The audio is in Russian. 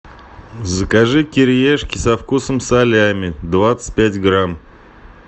закажи кириешки со вкусом салями двадцать пять грамм